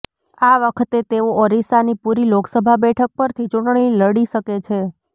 આ વખતે તેઓ ઓરિસ્સાની પુરી લોકસભા બેઠક પરથી ચૂંટણી લડી શકે છે